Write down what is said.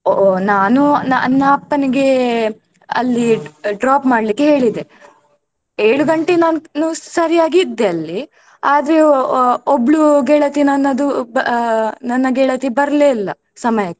ಒ ಒ ನಾನು ನನ್ನ ಅಪ್ಪನಿಗೆ ಅಲ್ಲಿ drop ಮಾಡ್ಲಿಕ್ಕೆ ಹೇಳಿದೆ ಏಳು ಗಂಟೆ ನಾನೂ ಸರಿಯಾಗಿ ಇದ್ದೇ ಅಲ್ಲಿ ಆದ್ರೆ ಒ~ ಒ~ ಒಬ್ಳು ಗೆಳತಿ ನನ್ನದು ಬ~ ನನ್ನ ಗೆಳತಿ ಬರ್ಲೇ ಇಲ್ಲ ಸಮಯಕ್ಕೆ.